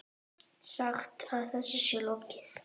Sagt að þessu sé lokið.